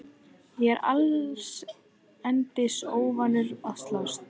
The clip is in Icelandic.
Ég er allsendis óvanur að slást.